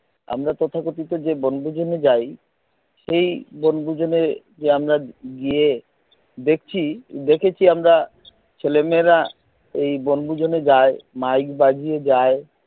আমরা তথাকথিত যে বনভোজনে যাই সেই বনভোজনে যে আমরা গিয়ে দেখছি দেখেছি আমরা ছেলেমেয়েরা এই বনভোজনে যায় mike বাজিয়ে যায়